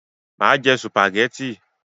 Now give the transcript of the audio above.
Má jẹ sùpàgẹ́tì!